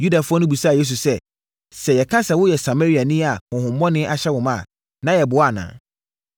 Yudafoɔ no bisaa Yesu sɛ, “Sɛ yɛka sɛ woyɛ Samariani a honhommɔne ahyɛ wo ma a, na yɛboa anaa?”